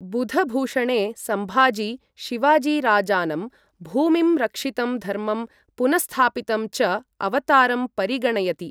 बुधभूषणे सम्भाजी, शिवाजीराजानं भूमिं रक्षितं धर्मं पुनःस्थापितं च अवतारं परिगणयति।